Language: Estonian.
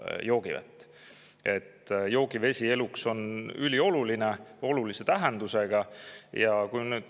Joogivesi on eluks ülioluline, olulise tähendusega.